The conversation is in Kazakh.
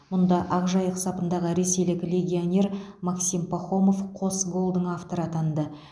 мұнда ақжайық сапындағы ресейлік легионер максим пахомов қос голдың авторы атанды